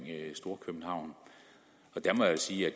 storkøbenhavn der må jeg sige at